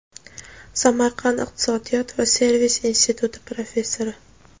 Samarqand iqtisodiyot va servis instituti professori;.